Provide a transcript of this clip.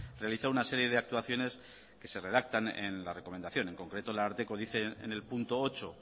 realizar una serie de actuaciones que se redactan en la recomendación en concreto el ararteko dice en el punto ocho